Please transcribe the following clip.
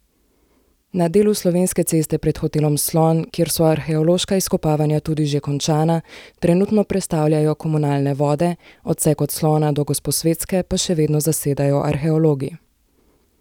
Na delu Slovenske ceste pred hotelom Slon, kjer so arheološka izkopavanja tudi že končana, trenutno prestavljajo komunalne vode, odsek od Slona do Gosposvetske pa še vedno zasedajo arheologi.